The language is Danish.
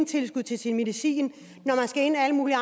tilskud til sin medicin når man skal ind alle mulige